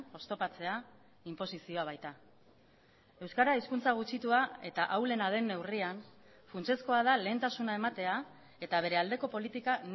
oztopatzea inposizioa baita euskara hizkuntza gutxitua eta ahulena den neurrian funtsezkoa da lehentasuna ematea eta bere aldeko politika